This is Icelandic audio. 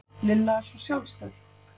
Lilla er svo sjálfstæð